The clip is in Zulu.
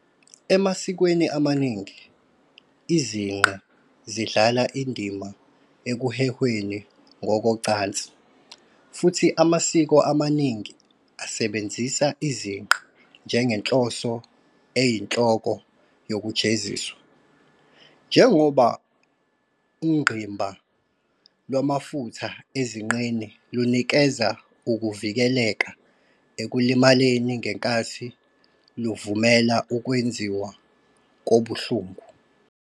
Emasikweni amaningi, izinqe zidlala indima ekuhehweni ngokocansi, futhi amasiko amaningi asebenzise izinqe njengenhloso eyinhloko yokujeziswa, njengoba ungqimba lwamafutha ezinqeni lunikeza ukuvikeleka ekulimaleni ngenkathi luvumela ukwenziwa kobuhlungu.